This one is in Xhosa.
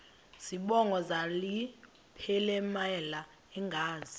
zibongo zazlphllmela engazi